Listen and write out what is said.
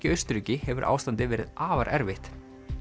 í Austurríki hefur ástandið verið afar erfitt